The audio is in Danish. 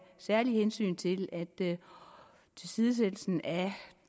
særlige hensyn til at tilsidesættelsen af